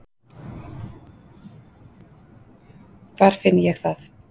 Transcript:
Hvar finn ég það?